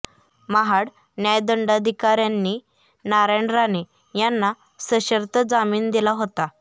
महाड न्यायदंडाधिकाऱ्यांनी नारायण राणे यांना सशर्त जामीन दिला होता